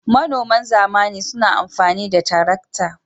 Manoman zamani suna amfani da tarakta.